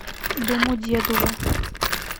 домодедово